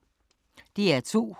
DR2